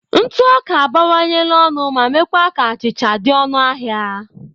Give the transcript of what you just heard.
Ntụ ọka abawanyela ọnụ ma meekwa ka achịcha achịcha dị ọnụ ahịa.